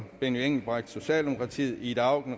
benny engelbrecht ida auken